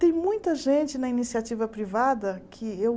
Tem muita gente na iniciativa privada que eu...